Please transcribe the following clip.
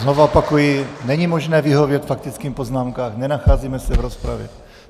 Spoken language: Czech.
Znovu opakuji, není možné vyhovět faktickým poznámkám, nenacházíme se v rozpravě.